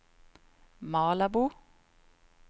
Malabo